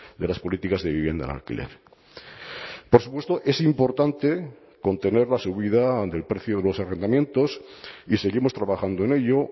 de las políticas de vivienda en alquiler por supuesto es importante contener la subida del precio de los arrendamientos y seguimos trabajando en ello